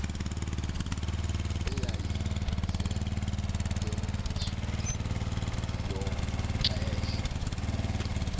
eyayisetyenziswa ngalo maxesha